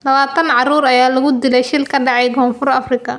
Lawatan carruur ah ayaa ku dhintay shil ka dhacay Koonfur Afrika